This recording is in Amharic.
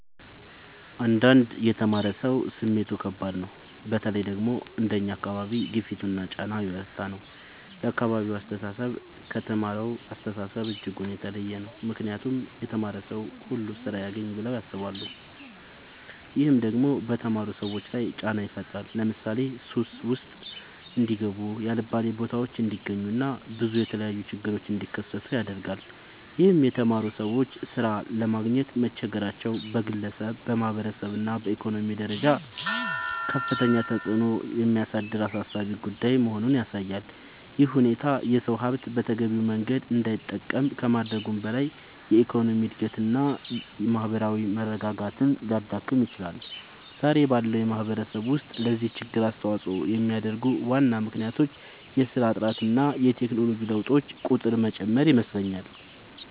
አንዳንድ የተማረ ሰው ስሜቱ ከባድ ነው በተለይ ደግሞ አንደኛ አካባቢ ግፊቱና ጫና የበረታ ነው የአካባቢው አስተሳሰብ ከተማረሳው አስተሳሰብ እጅጉን የተለየ ነው ምክንያቱም የተማረ ሰው ሁሉ ስራ ያግኝ ብለው ያስባሉ። ይህም ደግሞ በተማሩ ሰዎች ላይ ጫና ይፈጥራል ለምሳሌ ሱስ ውስጥ እንዲጋቡ የአልባሌ ቦታዎች እንዲገኙ እና ብዙ የተለያዩ ችግሮች እንዲከሰቱ ያደርጋል ይህም የተማሩ ሰዎች ሥራ ለማግኘት መቸገራቸው በግለሰብ፣ በማህበረሰብ እና በኢኮኖሚ ደረጃ ከፍተኛ ተጽዕኖ የሚያሳድር አሳሳቢ ጉዳይ መሆኑን ያሳያል። ይህ ሁኔታ የሰው ሀብት በተገቢው መንገድ እንዳይጠቀም ከማድረጉም በላይ የኢኮኖሚ እድገትን እና የማህበራዊ መረጋጋትን ሊያዳክም ይችላል። ዛሬ ባለው ማህበረሰብ ውስጥ ለዚህ ችግር አስተዋጽኦ የሚያደርጉ ዋና ምክንያቶች የስራ እጥረት እና የቴክኖሎጂ ለውጦች ቁጥር መጨመር ይመስለኛል